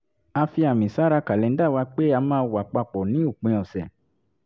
a fi àmì sára kàlẹ́ńdà wa pé a máa wà pa pọ̀ ní òpin ọ̀sẹ̀